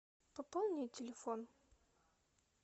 пополни телефон